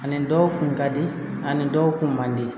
Ani dɔw kun ka di ani dɔw kun man di